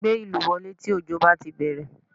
Gbé ìlù wọlé tí òjò bá ti bẹ̀rẹ̀